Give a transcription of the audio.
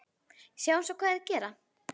Sjáum svo hvað þeir gera.